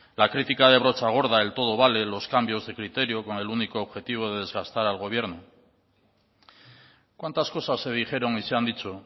la crítica de brocha gorda el todo vale los cambios de criterio con el único objetivo de desgastar al gobierno cuántas cosas se dijeron y se han dicho